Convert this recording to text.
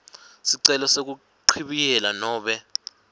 sicelo sekuchibiyela nobe